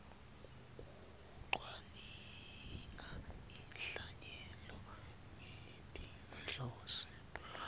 kucwaninga inhlanyelo ngetinhloso